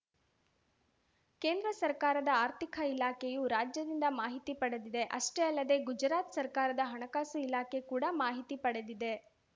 ಕೇಂದ್ರ ಸರ್ಕಾರದ ಆರ್ಥಿಕ ಇಲಾಖೆಯು ರಾಜ್ಯದಿಂದ ಮಾಹಿತಿ ಪಡೆದಿದೆ ಅಷ್ಟೇ ಅಲ್ಲದೆ ಗುಜರಾತ್‌ ಸರ್ಕಾರದ ಹಣಕಾಸು ಇಲಾಖೆ ಕೂಡ ಮಾಹಿತಿ ಪಡೆದಿದೆ